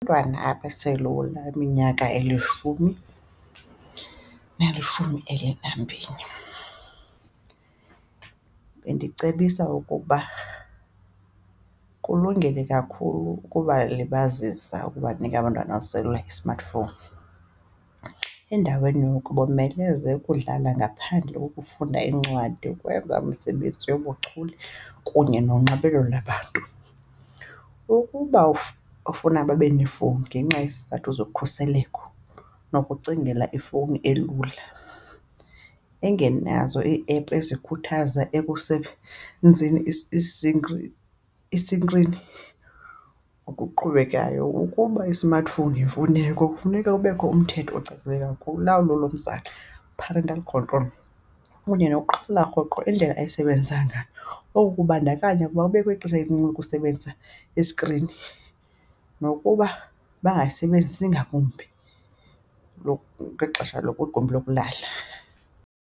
abaselula iminyaka elishumi nalishumi elinambini bendicebisa ukuba kulungile kakhulu ukubalibazisa, ukubanika abantwana abaselula i-smartphone. Endaweni yoko bomeleze ukudlala ngaphandle, ukufunda iincwadi, ukwenza umsebenzi yobuchule kunye nonxibelelo labantu. Ukuba ufuna babe neefowuni ngenxa yezizathu zokhuseleko nokucingela ifowuni elula engenazo ii-app ezikhuthaza ekusebenzini isinkrini okuqhubekayo. Ukuba i-smartphone yifowuni yakho kufuneka kubekho umthetho ocacileyo kulawulo lomzali, parental control kunye nokuqaphela rhoqo indlela ayisebenzisa ngayo. Oku kubandakanya ukuba kubekho ixesha elincinci ukusebenza iskrini nokuba bangayisebenzisi ngakumbi ngexesha lokwigumbi lokulala.